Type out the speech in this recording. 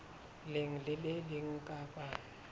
leng le le leng kapa